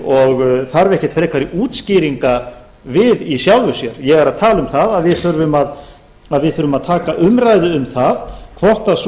og þarf ekki frekari útskýringa við í sjálfu sér ég er að tala um það að við þurfum að taka umræðu um það hvort sú